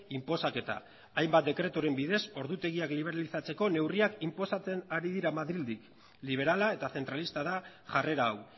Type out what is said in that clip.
inposaketa hainbat dekreturen bidez ordutegian liberalizatzeko neurriak inposatzen ari dira madrildik liberala eta zentralista da jarrera hau